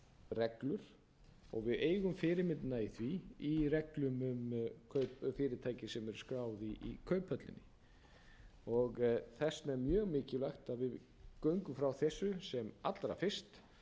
reglur og við eigum fyrirmyndirnar í því í reglum um fyrirtæki sem eru skráð í kauphöllinni þessa vegna er mjög mikilvægt að við göngum frá þessu sem allra fyrst